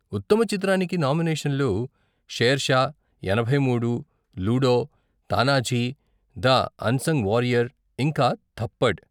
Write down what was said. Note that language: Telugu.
ఉత్తమ చిత్రానికి నామినేషన్లు షేర్షా, ఎనభై మూడు, Ludo, Tanhaji the unsung warrior, ఇంకా థప్పడ్.